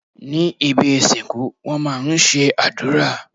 Ní ibi ìsìnkú wón má a ń ṣe àdúrà